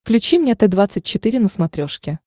включи мне т двадцать четыре на смотрешке